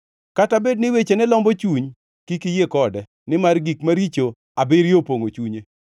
Kata bed ni wechene lombo chuny, kik iyie kode, nimar gik maricho abiriyo opongʼo chunye.